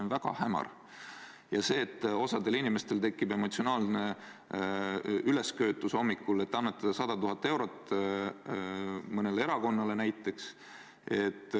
On väga hämar, et osa inimesi tunneb ühel hommikul end emotsionaalselt ülesköetuna ja nad tahavad annetada mõnele erakonnale näiteks 100 000 eurot.